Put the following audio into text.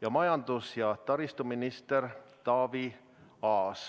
ja majandus- ja taristuminister Taavi Aas.